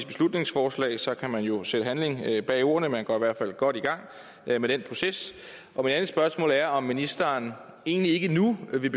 beslutningsforslag så kan man jo sætte handling bag ordene man kommer i hvert fald godt i gang med den proces og mit andet spørgsmål er om ministeren egentlig ikke nu vil